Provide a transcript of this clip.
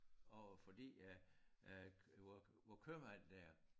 Og fordi at at vor vor købmand der